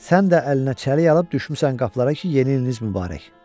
Sən də əlinə çəlik alıb düşmüsən qapılara ki, yeni iliniz mübarək.